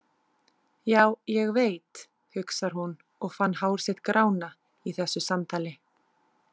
Já, ég veit, hugsar hún og fann hár sitt grána í þessu samtali.